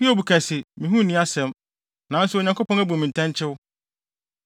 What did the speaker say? “Hiob ka se, ‘Me ho nni asɛm, nanso Onyankopɔn abu me ntɛnkyew.